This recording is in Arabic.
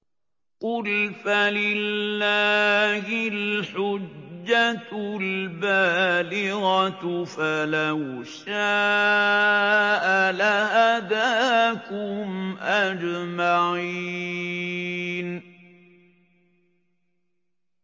قُلْ فَلِلَّهِ الْحُجَّةُ الْبَالِغَةُ ۖ فَلَوْ شَاءَ لَهَدَاكُمْ أَجْمَعِينَ